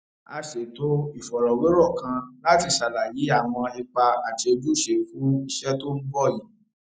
a ṣètò ìfọrọwérò kan láti ṣàlàyé àwọn ipa àti ojúṣe fún iṣẹ tó ń bò yìí